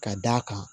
Ka d'a kan